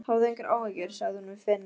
Hafðu engar áhyggjur, sagði hún við Finn.